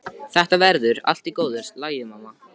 Þetta verður allt í góðu lagi, mamma.